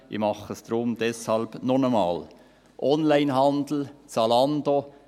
Ich mache es deshalb jetzt noch einmal: Onlinehandel, Zalando: